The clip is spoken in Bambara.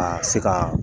A se ka